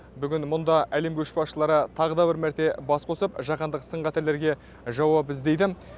бүгін мұнда әлем көшбасшылары тағы да бір мәрте бас қосып жаһандық сын қатерлерге жауап іздейді